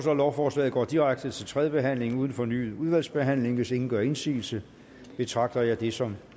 at lovforslaget går direkte til tredje behandling uden fornyet udvalgsbehandling hvis ingen gør indsigelse betragter jeg det som